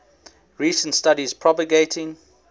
recent studies propagating